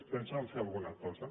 pensen fer alguna cosa